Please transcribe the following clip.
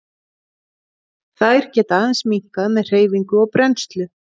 Þær geta aðeins minnkað með hreyfingu og brennslu.